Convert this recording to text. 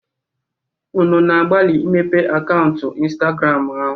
Unu na-agbalị imepe akaụntụ Ịnstagramụ?